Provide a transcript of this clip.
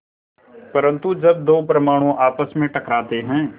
परन्तु जब दो परमाणु आपस में टकराते हैं